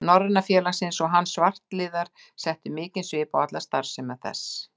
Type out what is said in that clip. Norræna félagsins, og hann og svartliðar settu mikinn svip á alla starfsemi þess.